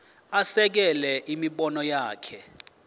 asekele imibono yakhe